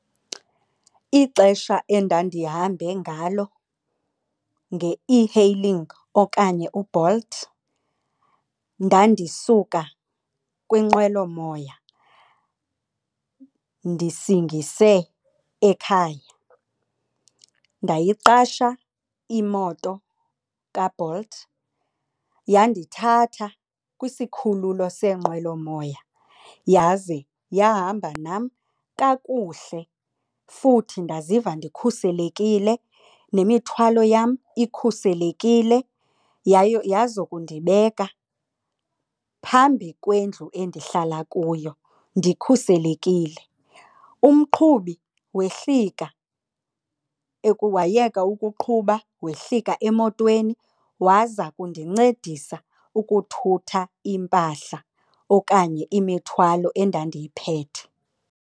Ixesha endandihambe ngalo nge-e-hailing okanye uBolt ndandisuka kwinqwelomoya ndisingise ekhaya. Ndayiqasha imoto kaBolt, yandithatha kwisikhululo seenqwelomoya yaze yahamba nam kakuhle futhi ndaziva ndikhuselekile nemithwalo yam ikhuselekile yayo yazokundibeka phambi kwendlu endihlala kuyo ndikhuselekile. Umqhubi wehlika wayeka ukuqhuba wehlika emotweni waza kundincedisa ukuthutha iimpahla okanye imithwalo endandiyiphethe.